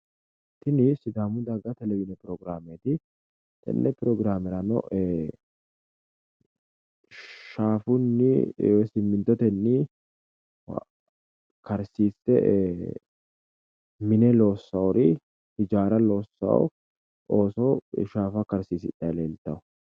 Tini sidaamu daga televizhine pirogiraameeti tenne pirogiraamerano shaafunni woy simmintotenni karsiisse mine loossaari hijaara loossawo ooso shaafa karsiisidhayi leeltawo.